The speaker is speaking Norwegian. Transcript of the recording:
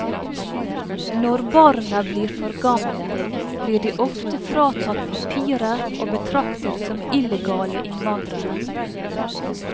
Når barna blir for gamle, blir de ofte fratatt papirer og betraktet som illegale innvandrere.